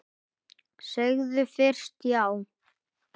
Segðu fyrst já!